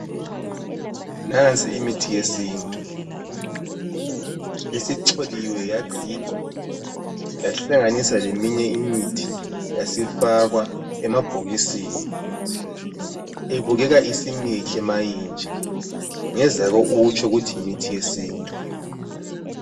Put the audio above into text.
Nansi imithi yesintu! Isicholiwe, yagigwa yahlanganiswa leminye imithi yasifakwa emabhokisini. Ibukeka isimihle ma inje. Ungezake utsho ukuthi yimithi yesintu.